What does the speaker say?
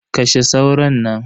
Kashe sauron nan.